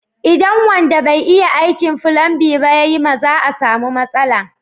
Idan wanda bai iya aikin fulanbin ba ya yi ma za a samu matsala.